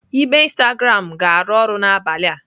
Ibe Instagram ga-arụ ọrụ n'abalị a.